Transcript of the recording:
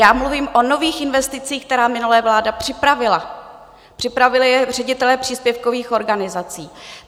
Já mluvím o nových investicích, které minulá vláda připravila, připravili je ředitelé příspěvkových organizací.